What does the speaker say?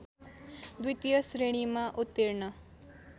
द्वितीय श्रेणीमा उत्तीर्ण